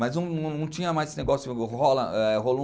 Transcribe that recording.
Mas não tinha mais esse negócio, rola é